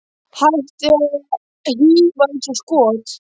Hættið að hífa eins og skot.